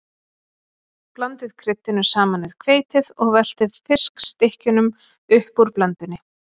Blandið kryddinu saman við hveitið og veltið fiskstykkjunum upp úr blöndunni.